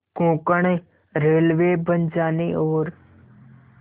Konkan railway बन जाने और